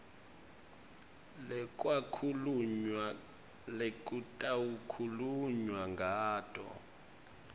lekwakhulunywa lekutawukhulunywa ngato